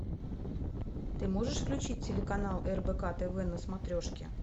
ты можешь включить телеканал рбк тв на смотрешке